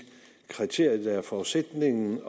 kriterier der også er forudsætningen